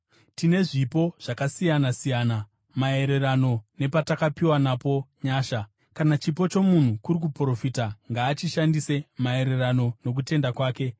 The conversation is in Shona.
Tine zvipo zvakasiyana-siyana, maererano nepatakapiwa napo nyasha. Kana chipo chomunhu kuri kuprofita, ngaachishandise maererano nokutenda kwake.